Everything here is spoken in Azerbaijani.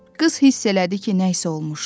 Qız hiss elədi ki, nə isə olmuşdu.